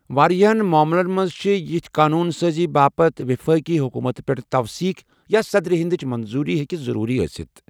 واریٛاہ معاملَن منٛز چھِ یِس قونوٗن سٲزی باپتھ وفاقی حکوٗمتہٕ پٮ۪ٹھ توثیق یا صدرِ ہندٕچ منظوٗری ہٮ۪کہِ ضروٗرت ٲسِتھ ۔